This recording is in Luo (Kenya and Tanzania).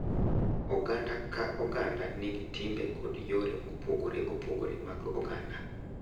Oganda ka oganda nigi timbe kod yore mopogore opogore mag oganda,